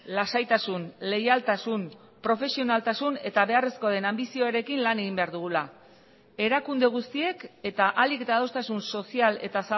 lasaitasun leialtasun profesionaltasun eta beharrezkoa den anbizioarekin lan egin behar dugula erakunde guztiek eta ahalik eta adostasun sozial eta